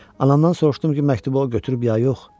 Anamdan soruşdum ki, məktubu o götürüb ya yox?